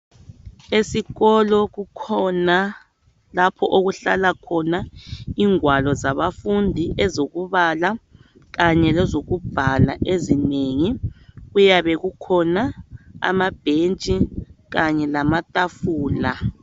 Esikolo kukhona lapho okuhlala khona ingwalo zabafundi ezokubala kanye lezokubhala ezinengi . Kuyabe kukhona amabhentshi kanye lamatafula.